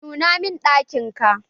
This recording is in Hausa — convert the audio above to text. Nuna mun ɗakin ka!